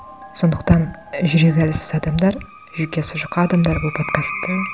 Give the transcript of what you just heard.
сондықтан і жүрегі әлсіз адамдар жүйкесі жұқа адамдар бұл подкастты